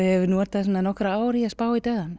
ég hef notað nokkur ár í að spá í dauðann